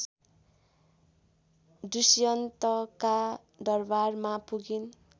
दुष्यन्तका दरबारमा पुगिन्